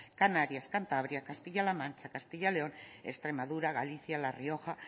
canarias cantabria castilla la mancha castilla león extremadura galicia la rioja